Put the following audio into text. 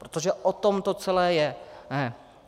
Protože o tom to celé je.